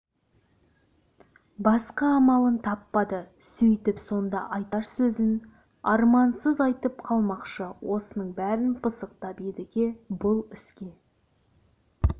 басқа амалын таппады сөйтіп сонда айтар сөзін армансыз айтып қалмақшы осының бәрін пысықтап едіге бұл іске